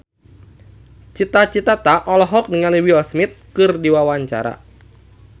Cita Citata olohok ningali Will Smith keur diwawancara